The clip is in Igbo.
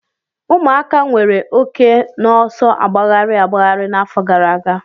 Ụmụaka nwere oke n'ọsọ agbagharị agbagharị n'afọ gara aga.